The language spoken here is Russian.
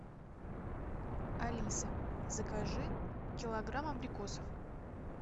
алиса закажи килограмм абрикосов